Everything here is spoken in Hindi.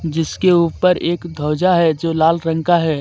जिसके ऊपर एक ध्वजा है जो लाल रंग का है.